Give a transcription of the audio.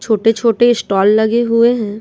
छोटे-छोटे स्टॉल लगे हुए हैं।